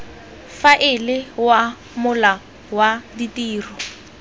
faela wa mola wa ditiro